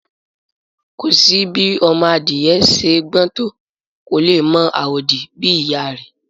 Kò sí bí òròmọadìyẹ ṣe gbọ́n tó, kò lè mọ àwòdì bí ìyá a rẹ̀